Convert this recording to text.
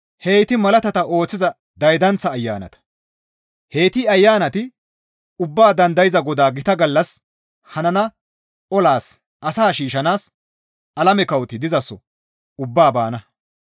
Heyti malaatata ooththiza daydanththa ayanata. Heyti ayanati Ubbaa Dandayza Godaa gita gallas hanana olas asaa shiishshanaas alame kawoti dizaso ubbaa baana.